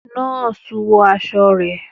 Nọ́ọ̀sì wọ aṣọ rẹ.